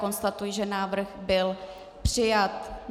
Konstatuji, že návrh byl přijat.